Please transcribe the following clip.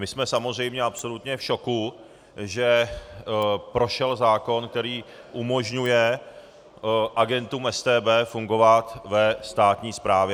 My jsme samozřejmě absolutně v šoku, že prošel zákon, který umožňuje agentům StB fungovat ve státní správě.